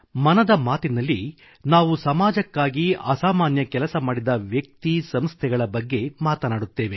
ಮನದ ಮಾತಿನಲ್ಲಿ ನಾವು ಸಮಾಜಕ್ಕಾಗಿಅಸಾಮಾನ್ಯ ಕೆಲಸ ಮಾಡಿದ ವ್ಯಕ್ತಿಸಂಸ್ಥೆಗಳ ಬಗ್ಗೆ ಮಾತನಾಡುತ್ತೇವೆ